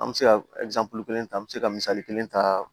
An bɛ se ka kelen ta an bɛ se ka misali kelen ta